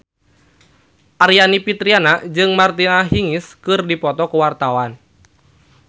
Aryani Fitriana jeung Martina Hingis keur dipoto ku wartawan